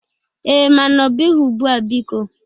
Ee, mana ọbụghị ugbụa, biko.